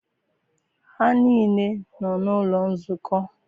Ha niile nọ n'ụlọ nzukọ.